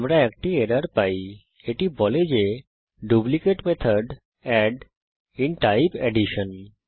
আমরা একটি এরর পাই এটি বলে যে duplicate method add in type addition